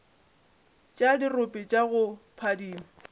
tša dirope tša go phadima